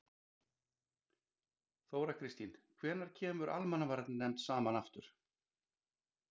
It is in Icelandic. Þóra Kristín: Hvenær kemur almannavarnanefnd saman aftur?